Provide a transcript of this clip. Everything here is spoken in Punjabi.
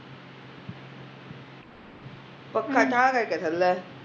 ਪੱਖ ਠਾਹ ਕਰਕੇ ਥੱਲੇ